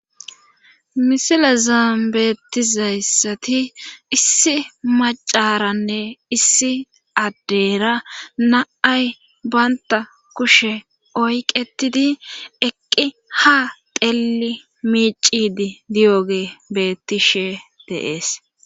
misilazaan beettizayssati issi macaranne issi addeyra na7ay baynta kushe oyqetidi eqqi ha telli miicidi diyoge bettishe deees